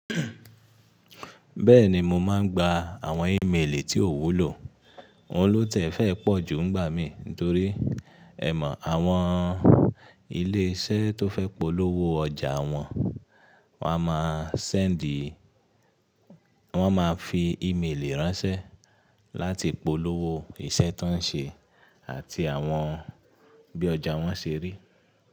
Bẹ́ẹ̀ni mo máa ń gba àwọn ímeèlì tí òwú lò, òhun lọ́tẹ̀ fẹ́ pọ̀ ju nígbà mí torí ẹ mọ̀ àwọn ilé iṣẹ́ tó fẹ́ polówó ọjà wọn, wọ́n a máa sẹ́ẹ̀ńdìì, wọ́n máa fi email ránṣẹ́ láti polówó iṣẹ́ tí wọ́n ń ṣe àti àwọn bí ọjà wọn ṣe rí.